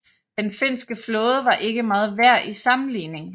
Den finske flåde var ikke meget værd i sammenligning